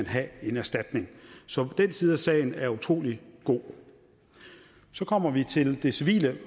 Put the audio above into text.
have en erstatning så den side af sagen er utrolig god så kommer vi til det civile